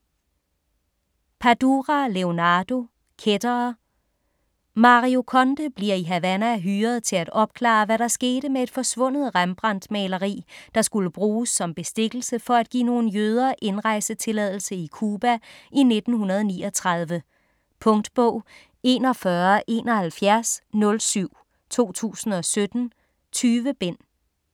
Padura, Leonardo: Kættere Mario Conde bliver i Havana hyret til at opklare, hvad der skete med et forsvundet Rembrandt-maleri, der skulle bruges som bestikkelse for at give nogle jøder indrejsetilladelse i Cuba i 1939. Punktbog 417107 2017. 20 bind.